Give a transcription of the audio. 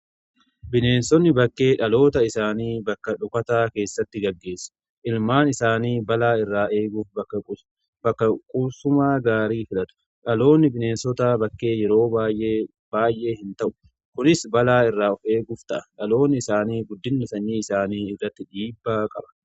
Bineensonni bakkee dhaloota isaanii bakka dhokataa keessatti gaggeessu. Ilmaan isaanii balaa irraa eeguuf bakka quubsumaa gaarii filatu. Dhaloonni bineensota bakkee yeroo baay'ee hin ta'u. kunis balaa irraa of eeguuf ta'a. Dhaloonni isaanii guddina sanyii isaanii irratti dhiibbaa qaba.